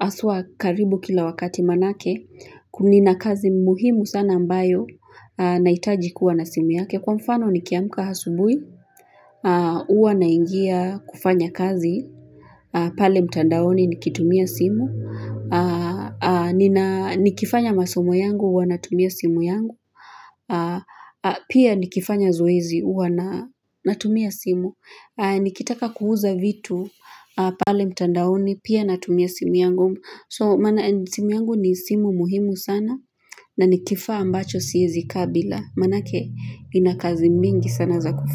haswa karibu kila wakati manake, kuna kazi muhimu sana ambayo, najitaji kuwa na simu yake, kwa mfano nikiamka asubuhi, huwa naingia kufanya kazi, pale mtandaoni nikitumia simu, nikifanya masomo yangu huwa natumia simu yangu, pia nikifanya zoezi huwa natumia simu, nikitaka kuuza vitu pale mtandaoni pia natumia simu yangu so maana simu yangu ni simu muhimu sana na ni kifaa ambacho siezi kaa bila manake ina kazi mingi sana za kufanya.